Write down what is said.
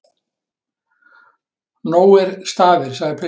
Nógir staðir, sagði pilturinn.